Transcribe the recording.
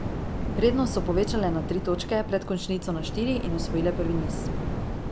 Prednost so povečale na tri točke, pred končnico na štiri in osvojile prvi niz.